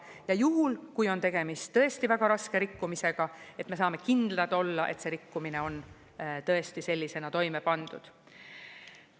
Ja juhul, kui on tegemist tõesti väga raske rikkumisega, et me saame kindlad olla, et see rikkumine on tõesti sellisena toime pandud.